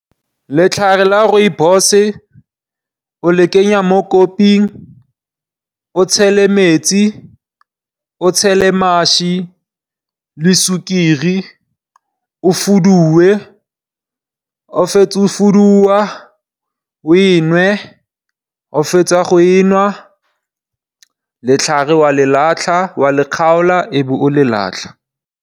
Letlhare la Rooibos o lekenya mo koping, o tshele metsi, o tshele mašwi le sukiri o fuduwe. Ga o fetsa go fuduwa o e nwe, ga o fetsa go e nwa, letlhare wa le kgaola e be o le latlha.